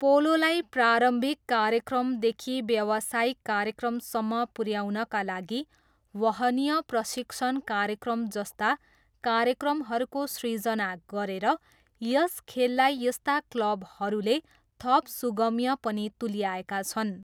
पोलोलाई प्रारम्भिक कार्यक्रमदेखि व्यवसायिक कार्यक्रमसम्म पुऱ्याउनका लागि वहनीय प्रशिक्षण कार्यक्रम जस्ता कार्यक्रमहरूको सृजना गरेर यस खेललाई यस्ता क्लबहरूले थप सुगम्य पनि तुल्याएका छन्।